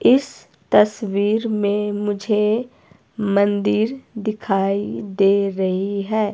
इस तस्वीर में मुझे मंदिर दिखाई दे रही है।